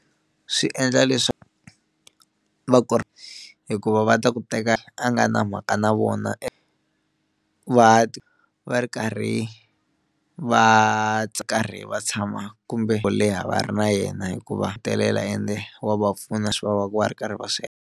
Swi endla leswaku va ku ri hikuva va ta ku teka a nga na mhaka na vona va ri karhi va karhi va tshama kumbe leha va ri na yena hikuva hetelela ende wa va pfuna leswi va va va ri karhi va swi .